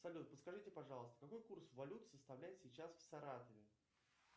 салют подскажите пожалуйста какой курс валют составляет сейчас в саратове